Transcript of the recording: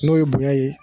N'o ye bonya ye